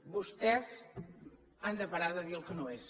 vostès han de parar de dir el que no és